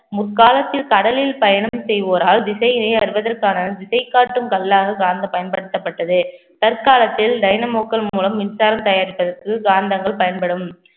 முற்காலத்தில் கடலில் பயணம் செய்வோரால் திசையை அறிவதற்கான திசைகாட்டும் கல்லாக பயன்படுத்தப்பட்டது தற்காலத்தில் டைனமோக்கள் மூலம் மின்சாரம் தயாரிப்பதற்கு காந்தங்கள் பயன்படும்